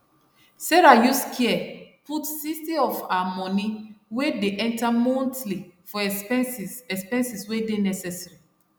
sarah use care put 60 of her money wey dey enter monthly for expenses expenses wey dey necessary